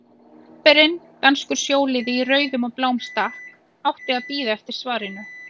Bréfberinn, danskur sjóliði í rauðum og bláum stakk, átti að bíða eftir svarinu.